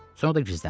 Sonra da gizləndi.